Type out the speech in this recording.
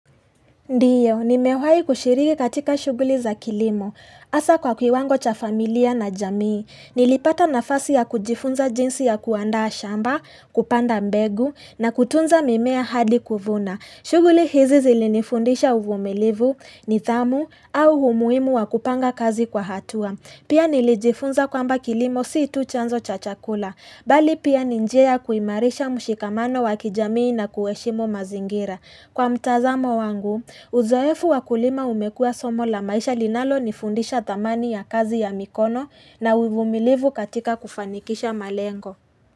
Ndiyo, nimewahi kushiriki katika shughuli za kilimo. Hasa kwa kiwango cha familia na jamii. Nilipata nafasi ya kujifunza jinsi ya kuandaa shamba, kupanda mbegu na kutunza mimea hadi kuvuna. Shughuli hizi zilinifundisha uvumilivu nidhamu au umuhimu wa kupanga kazi kwa hatua. Pia nilijifunza kwamba kilimo si tu chanzo cha chakula. Bali pia ni njia kuhimarisha mshikamano wa kijamii na kuheshimu mazingira. Kwa mtazamo wangu, uzoefu wa kulima umekuwa somo la maisha linalonifundisha dhamani ya kazi ya mikono na uvumilivu katika kufanikisha malengo.